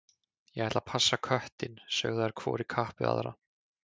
Ég ætla að passa köttinn, sögðu þær hvor í kapp við aðra.